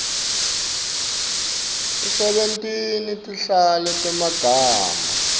usebentise tinhlavu temagama